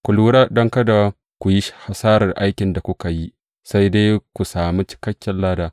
Ku lura don kada ku yi hasarar aikin da kuka yi, sai dai ku sami cikakken lada.